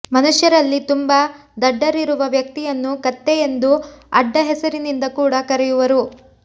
ಮನುಷ್ಯರಲ್ಲಿ ತುಂಬಾ ದಡ್ಡರಿರುವ ವ್ಯಕ್ತಿಯನ್ನು ಕತ್ತೆ ಎಂದು ಅಡ್ಡ ಹೆಸರಿನಿಂದ ಕೂಡ ಕರೆಯುವರು